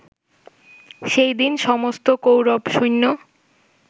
সেই দিন সমস্ত কৌরবসৈন্য